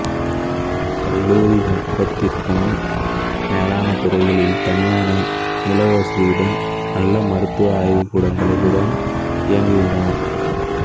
கல்லூரி முப்பதிற்கும் மேலான துறைகளில் தனியான நூலக வசதியுடனும் நல்ல மருத்துவ ஆய்வுக்கூடங்களுடனும் இயங்குகிறது